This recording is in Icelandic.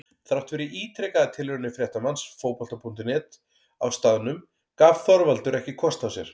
Þrátt fyrir ítrekaðar tilraunir fréttamanns Fótbolta.net á staðnum gaf Þorvaldur ekki kost á sér.